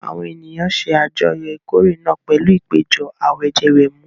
Àwọn ènìyàn ṣe àjọyọ̀ ìkórè náà pẹ̀lú ìpéjọ àwẹ̀jẹwẹ̀mu.